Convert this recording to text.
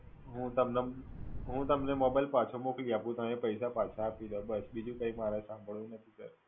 હુ હૂં તમને Mobile પાછા મોકલી આપું. તમે પૈસા પાછા આપી દો બસ. બીજું કઈ મારે